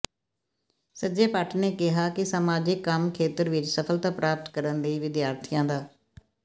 ਸੰਜੈ ਭੱਟ ਨੇ ਕਿਹਾ ਕਿ ਸਾਮਾਜਿਕ ਕੰਮ ਖੇਤਰ ਵਿਚ ਸਫਲਤਾ ਪ੍ਰਾਪਤ ਕਰਨ ਲਈ ਵਿਦਿਆਰਥੀਆਂ ਦਾ